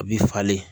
A bi falen